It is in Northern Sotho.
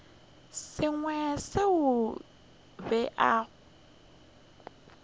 sengwe seo a bego a